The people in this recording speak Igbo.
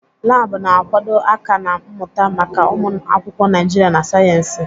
Laabụ̀ na-akwado aka-na mmụta maka ụmụ akwụkwọ Naijiria na sayensị.